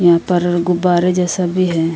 यहाँ पर गुब्बारे जैसे भी है।